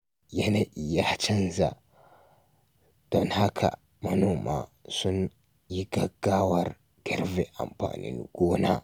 Yanayi ya canza, don haka manoma sun yi gaggawar girbin amfanin gona.